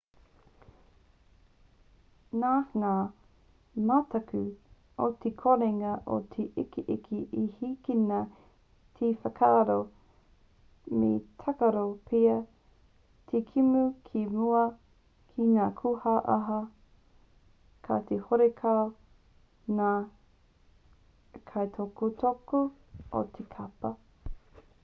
nā ngā mataku o te korenga o te ikiiki i hīkina te whakaaro me tākaro pea te kēmu ki mua i ngā kūaha kati horekau ngā kaitautoko o te kapa